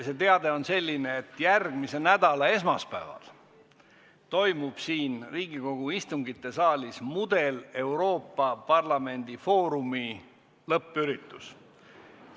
See on selline, et järgmise nädala esmaspäeval toimub siin Riigikogu istungite saalis Mudel-Euroopa Parlamendi foorumi lõppüritus.